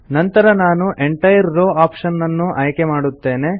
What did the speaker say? ನಂತರ ನಾನು entire row option ಅನ್ನು ಆಯ್ಕೆ ಮಾಡುತ್ತೇನೆ